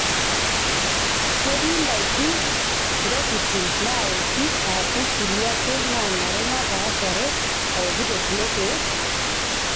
Ketii ndaiki, ntokitin naawoki aashu kulie ake naanare napaashare aokito kulo keek?